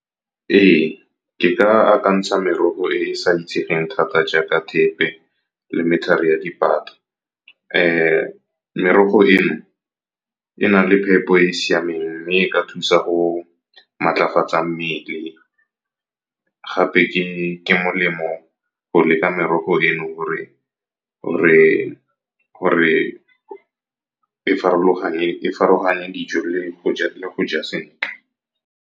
Ee, ke ka akantsha merogo e e sa itsegeng thata jaaka thepe le dipata. Merogo e no e na le phepo e e siameng mme e ka thusa go matlafatsa mmele. Gape ke molemo go leka merogo e no gore e farologane dijo le go ja sentle.